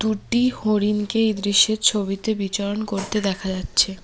দুটি হরিণকে এই দৃশ্যের ছবিতে বিচরণ করতে দেখা যাচ্ছে।